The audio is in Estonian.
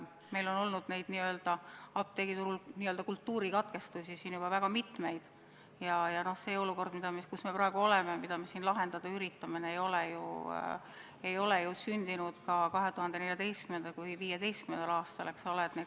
Meil on apteegiturul n-ö kultuurikatkestusi olnud juba väga mitmeid ja see olukord, kus me praegu oleme ja mida me siin lahendada üritame, ei ole sündinud 2014. või 2015. aastal, eks ole.